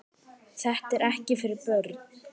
Þetta er ekkert fyrir börn!